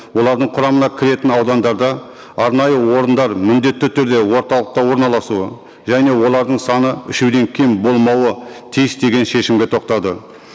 олардың құрамына кіретін аудандарда арнайы орындар міндетті түрде орталықта орналасуы және олардың саны үшеуден кем болмауы тиіс деген шешімге тоқтады